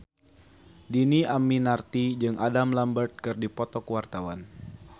Dhini Aminarti jeung Adam Lambert keur dipoto ku wartawan